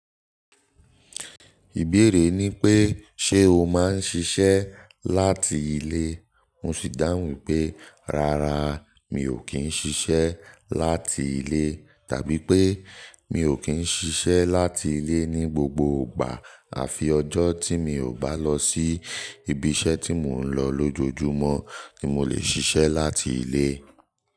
Ìbéèrè ni pé ṣe o máa ń ṣiṣẹ́ láti ilé? Mo sì dáhùn wipé rárá mi ò kí ń ṣiṣẹ́ láti ilé. Tàbí pé mi ò kí ń ṣiṣẹ́ láti ilé ní gbogbo ìgbà. Àfi ọjọ́ tí mi ò bá lọ sí ibi iṣẹ́ tí mò ń lọ lójoojúmọ́ ni mo lè ṣiṣẹ́ láti ilé.